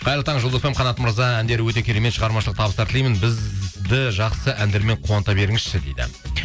қайырлы таң жұлдыз фм қанат мырза әндері өте керемет шығармашылық табыстар тілеймін бізді жақсы әндермен қуанта беріңізші дейді